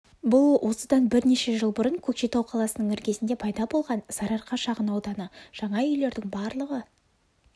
бұл осыдан бірнеше жыл бұрын көкшетау қаласының іргесінде пайда болған сарыарқа шағын ауданы жаңа үйлердің барлығы